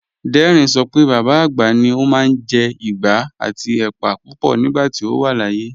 Dẹ́rìn ṣọ pé bàbá agbá ni ọ̀un máa n jẹ́ ìgbà àti èpà púpọ̀ nígbàtí ọ wà láàyè